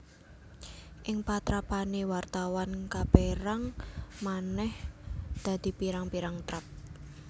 Ing patrapané wartawan kapérang manèh dadi pirang pirang trap